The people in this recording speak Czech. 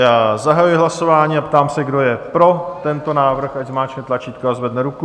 Já zahajuji hlasování a ptám se, kdo je pro tento návrh, ať zmáčkne tlačítko a zvedne ruku.